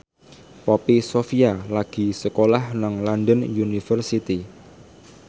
Poppy Sovia lagi sekolah nang London University